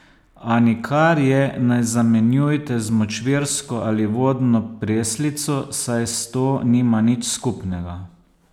A nikar je ne zamenjujte z močvirsko ali vodno preslico, saj s to nima nič skupnega.